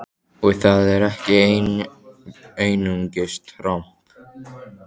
Og það er ekki einungis tromp!